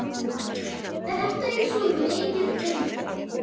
Þetta er svo mikið undur.